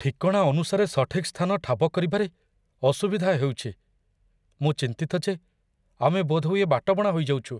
ଠିକଣା ଅନୁସାରେ ସଠିକ୍ ସ୍ଥାନ ଠାବ କରିବାରେ ଅସୁବିଧା ହେଉଛି। ମୁଁ ଚିନ୍ତିତ ଯେ ଆମେ ବୋଧହୁଏ ବାଟବଣା ହୋଇଯାଉଛୁ।